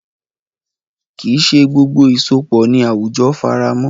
Kì í ṣe gbogbo ìsopọ̀ ni àwùjọ faramọ́.